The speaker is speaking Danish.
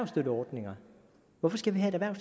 mener